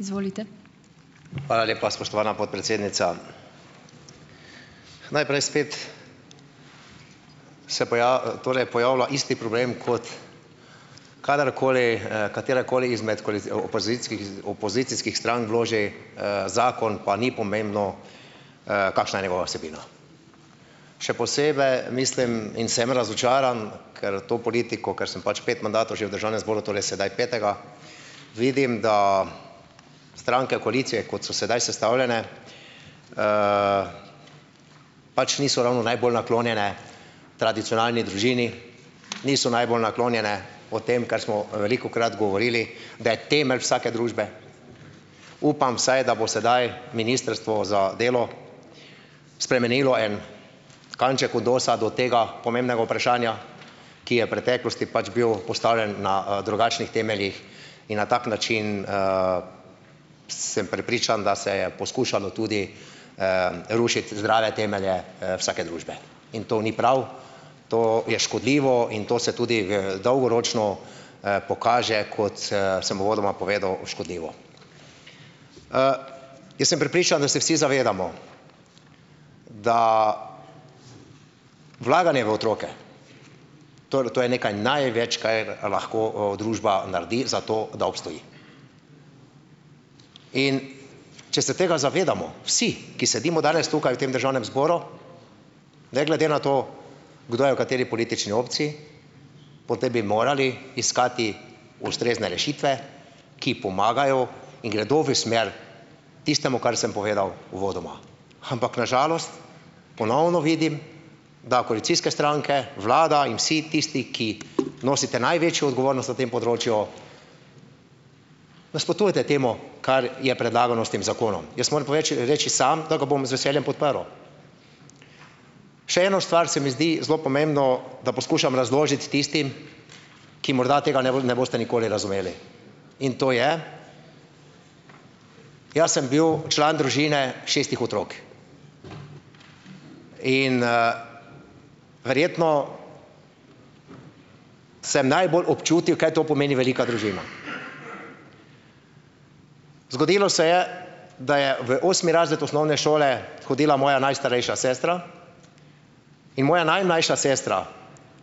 Hvala lepa, spoštovana podpredsednica. Najprej spet se torej pojavlja isti problem kot kadarkoli, katerakoli izmed opozickih opozicijskih strank vloži zakon, pa ni pomembno, kakšna je njegova vsebina. Še posebej mislim in sem razočaran, ker to politiko, kar sem pač pet mandatov že v Državnem zboru, tole je sedaj petega, vidim da stranke koalicije, kot so sedaj sestavljene, pač niso ravno najbolj naklonjene tradicionalni družini, niso najbolj naklonjene o tem, kar smo velikokrat govorili, da je temelj vsake družbe. Upam vsaj, da bo sedaj ministrstvo za delo spremenilo en kanček odnosa do tega pomembnega vprašanja, ki je v preteklosti pač bil postavljen na drugačnih temeljih in na tak način sem prepričan, da se je poskušalo tudi rušiti zdrave temelje vsake družbe, in to ni prav, to je škodljivo in to se tudi dolgoročno pokaže, kot sem uvodoma povedal, škodljivo. Jaz sem prepričan, da se vsi zadevamo, da vlaganje v otroke, torej to je nekaj največ, kaj lahko družba naredi za to, da obstoji. In če se tega zavedamo vsi, ki sedimo danes tukaj v tem Državnem zboru, ne glede na to, kdo je v kateri politični opciji, potem bi morali iskati ustrezne rešitve, ki pomagajo in gredo v smer tistemu, kar sem povedal uvodoma, ampak na žalost ponovno vidim, da koalicijske stranke, vlada in vsi tisti, ki nosite največjo odgovornost na tem področju, nasprotujete temu, kar je predlagano s tem zakonom. Jaz moram povedati še reči samo, da ga bom z veseljem podprl. Še eno stvar se mi zdi zelo pomembno, da poskušam razložiti tistim, ki morda tega ne ne boste nikoli razumeli, in to je, jaz sem bil član družine šestih otrok in verjetno sem najbolj občutljiv, kaj to pomeni velika družina. Zgodilo se je, da je v osmi razred osnovne šole hodila moja najstarejša sestra in moja najmlajša sestra